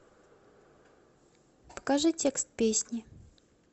покажи текст песни